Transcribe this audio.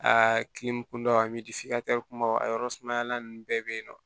A kile kunba min tɛ filancɛ kumaba aw yɔrɔ sumaya ninnu bɛɛ bɛ yen nɔ